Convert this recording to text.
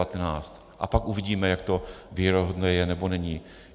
A pak uvidíme, jak to věrohodné je, nebo není.